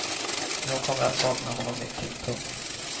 Jag kommer att sakna honom mycket. punkt